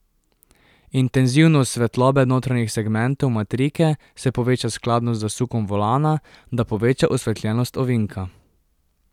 Intenzivnost svetlobe notranjih segmentov matrike se poveča skladno z zasukom volana, da poveča osvetljenost ovinka.